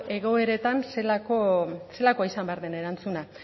egoeretan zelako izan behar izan den erantzuna